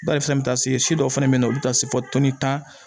Bari fɛnɛ bɛ taa se si dɔw fana bɛ yen olu bɛ taa se fɔ tan